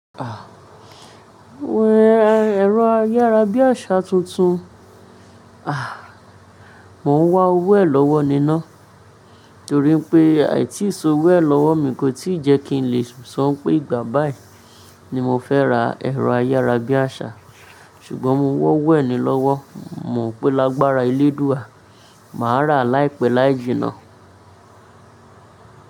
Ẹ̀rọ ayárabíàṣá tuntun, ah! Màá wá owó ẹ̀ lọ́wọ́ niná torí pé àìtí so owó ẹ̀ lọ́wọ́ mi kò tí ì jẹ́ kí n lè sọ pé ìgbà bá yẹ ní mo fẹ́ ra ẹ̀rọ ayárabíàṣá ṣùgbọ́n mo wọ́wọ́ ẹ̀ ní lọ́wọ́. Mò mo pè lágbára ilé dúró, màá rà láìpẹ́ láì jìnnà.